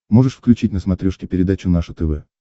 можешь включить на смотрешке передачу наше тв